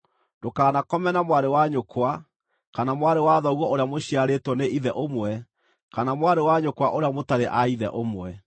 “ ‘Ndũkanakome na mwarĩ wa nyũkwa, kana mwarĩ wa thoguo ũrĩa mũciarĩtwo nĩ ithe ũmwe kana mwarĩ wa nyũkwa ũrĩa mũtarĩ a ithe ũmwe.